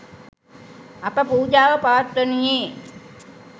අප පූජාව පවත්වනුයේ